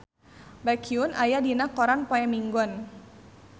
Baekhyun aya dina koran poe Minggon